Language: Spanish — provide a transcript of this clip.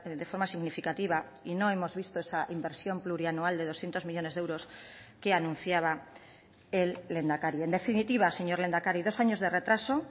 de forma significativa y no hemos visto esa inversión plurianual de doscientos millónes de euros que anunciaba el lehendakari en definitiva señor lehendakari dos años de retraso